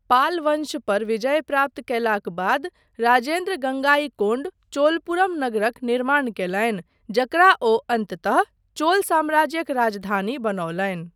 पाल वंश पर विजय प्राप्त कयलाक बाद राजेन्द्र गङ्गाइकोण्ड चोलपुरम नगरक निर्माण कयलनि जकरा ओ अन्ततः चोल साम्राज्यक राजधानी बनौलनि।